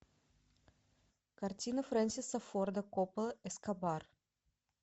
картина фрэнсиса форда коппола эскобар